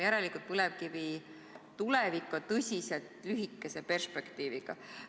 Järelikult, põlevkivi tulevik on tõsiselt lühikese perspektiiviga.